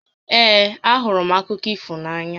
Ee, a hụrụ m akụkọ ifo na-ànyà